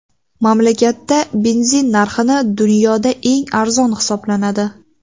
Mamlakatda benzin narxi dunyoda eng arzon hisoblanadi.